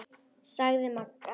sagði Magga.